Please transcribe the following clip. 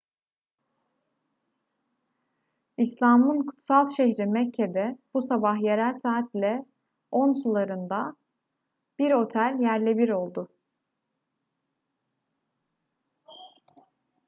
i̇slam'ın kutsal şehri mekke'de bu sabah yerel saatle 10 sularında bir otel yerle bir oldu